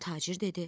Tacir dedi: